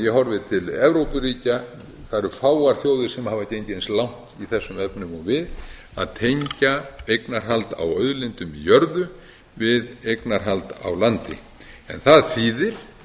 horfi til evrópuríkja það eru fáar þjóðir sem hafa gengið eins langt í þessum efnum og við að tengja eignarhald á auðlindum í jörðu við eignarhaldi á landi en það þýðir